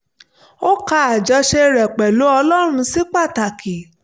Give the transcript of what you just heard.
ó ka àjọṣe rẹ̀ pẹ̀lú ọlọ́run sí pàtàkì